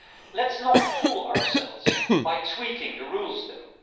Let's not fool ourselves by tweaking the rules though.